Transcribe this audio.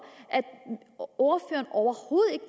at ordføreren overhovedet ikke